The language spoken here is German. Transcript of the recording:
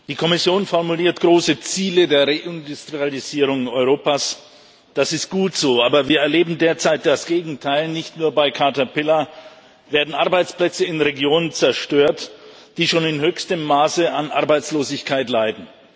Die Kommission formuliert große Ziele der Reindustrialisierung Europas das ist gut so aber wir erleben derzeit das Gegenteil Nicht nur bei Caterpillar werden Arbeitsplätze in Regionen zerstört, die schon in höchstem Maße an Arbeitslosigkeit leiden.